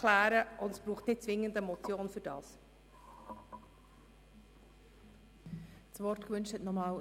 Dazu braucht es nicht zwingend eine Motion.